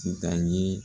Titan ye